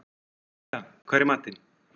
Matthea, hvað er í matinn?